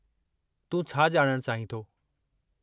तूं छा ॼाणणु चाहीं थो?